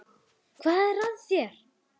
Hvað er að þér?